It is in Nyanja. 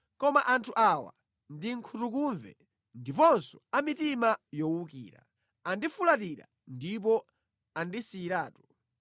Koma anthu awa ndi nkhutukumve ndiponso a mitima yowukira; andifulatira ndipo andisiyiratu.